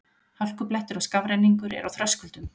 Hálkublettir og skafrenningur er á Þröskuldum